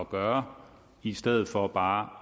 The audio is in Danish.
gøre i stedet for bare